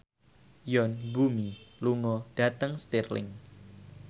Yoon Bomi lunga dhateng Stirling